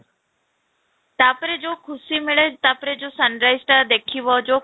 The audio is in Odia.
ତା'ପରେ ଯଉ ଖୁସି ମିଳେ ତା'ପରେ ଯଉ sunrise ଟା ଦେଖିବ ଯଉ